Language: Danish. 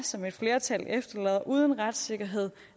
som et flertal efterlader uden retssikkerhed